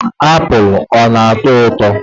Apụl ọ na-ata ụtọ.